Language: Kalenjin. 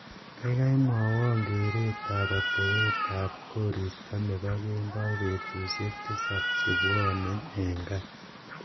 gaigai mwowon kereet ab atebet koristo nepo kemboi betusiek tisab chebwone en gaa